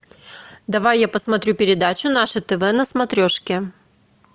давай я посмотрю передачу наше тв на смотрешке